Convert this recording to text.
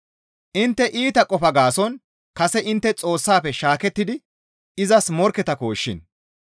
Intte iita qofa gaason kase intte Xoossafe shaakettidi izas morkketakkoshin.